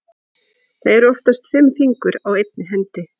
Það eru oftast fimm fingur á einni hendi.